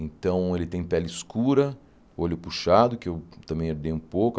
Então, ele tem pele escura, olho puxado, que eu também herdei um pouco.